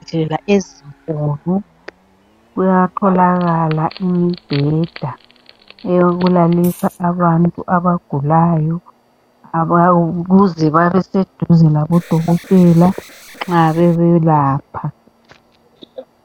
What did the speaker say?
Ezibhedlela ezinkulu kuyatholakala imibheda eyokulalisa abantu abagulayo ukuze babeseduze labodokotela nxa bebelapha.